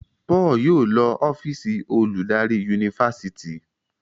Paul yóò ló ọ́fíìsì oludari Yunifásitìni.